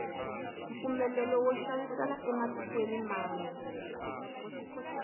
mpfumelelo wo xavisela ematikweni mambe